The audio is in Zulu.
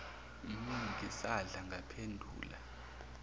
hh ngisadla ngaphendula